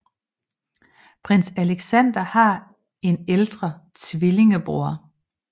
Prins Aleksandar har en ældre tvillingebror